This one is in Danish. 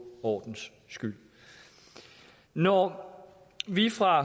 ordens skyld når vi fra